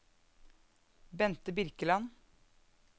Bente Birkeland